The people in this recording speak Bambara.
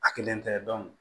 A kelen tɛ